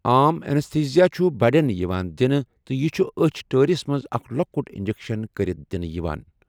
عام اینستھیزیا چھُ بڑٮ۪ن یِوان دِنہٕ تہٕ یہِ چھُ أچھ ٹٲرِس منٛز اکھ لۄکُٹ انجکشن کٔرِتھ دِنہٕ یِوان۔